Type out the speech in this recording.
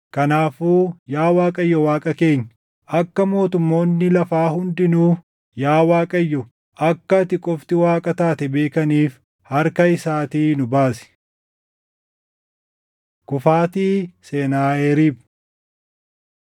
Kanaafuu yaa Waaqayyo Waaqa keenya, akka mootummoonni lafaa hundinuu yaa Waaqayyo, akka ati qofti Waaqa taate beekaniif harka isaatii nu baasi.” Kufaatii Senaaheriib 19:20‑37 kwf – Isa 37:21‑38 19:35‑37 kwf – 2Sn 32:20‑21